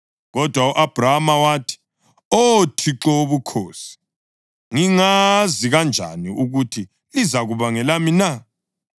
Kodwa u-Abhrama wathi, “Oh Thixo Wobukhosi, ngingazi kanjani ukuthi lizakuba ngelami na?”